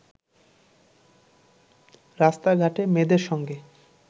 রাস্তাঘাটে মেয়েদের সঙ্গে